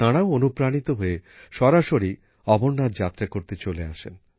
তাঁরাও অনুপ্রাণিত হয়ে সরাসরি অমরনাথ যাত্রা করতে চলে আসেন